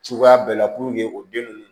Cogoya bɛɛ la o den nunnu